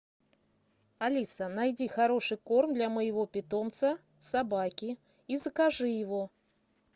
алиса найди хороший корм для моего питомца собаки и закажи его